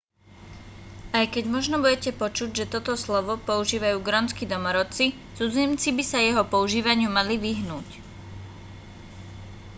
aj keď možno budete počuť že toto slovo používajú grónski domorodci cudzinci by sa jeho používaniu mali vyhnúť